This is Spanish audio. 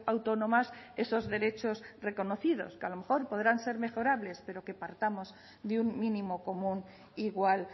autónomas esos derechos reconocidos que a lo mejor podrán ser mejorables pero que pactamos de un mínimo común igual